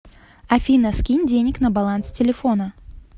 афина скинь денег на баланс телефона